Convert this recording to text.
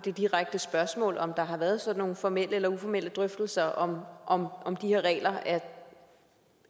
det direkte spørgsmål om der har været sådan nogle formelle eller uformelle drøftelser om om de her regler